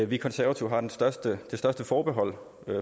vi konservative har det største største forbehold